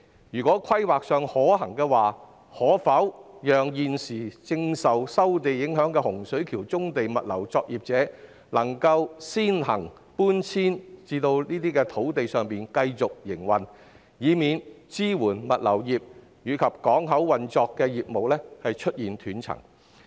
如在規劃上可行的話，我建議政府讓現時受收地影響的洪水橋棕地物流作業者，先行搬遷至該等土地上繼續營運，以免支援物流業及港口運作的業務出現斷層。